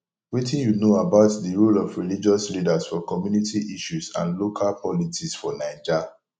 wetin you know about di role of religious leaders for community issues and local politics for naija